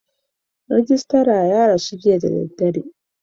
Rijistar ya rasu jiya da dare.